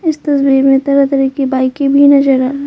इस तस्वीर में तरह तरह की बाइकें भी नजर आ--